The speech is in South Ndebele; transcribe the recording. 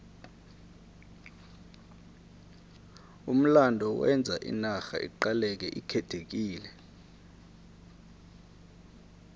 umlando wenza inarha iqaleke ikhethekile